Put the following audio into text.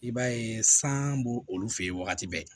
I b'a ye san b'olu fe yen wagati bɛɛ